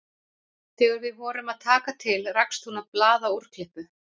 Þegar við vorum að taka til rakst hún á blaðaúrklippu